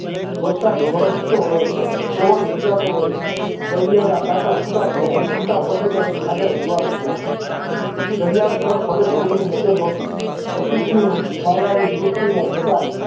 વરસાદ વરસતો રહ્યો પવન ભીંજાતો રહ્યો ઘડિયાળના કાંટા છુટા પડ્યા અને છૂટા પડી ને આગળ વધવા લાગ્યા ઘડિયાળ તરફ હવે કોઈની નજર નથી અસિતની માયાવી સૃષ્ટિને બધા